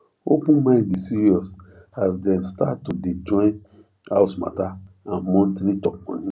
open mind dey serious as dem start to day join house matter and monthly chop money